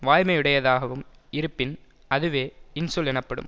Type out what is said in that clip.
வாய்மையுடையதாகவும் இருப்பின் அதுவே இன்சொல் எனப்படும்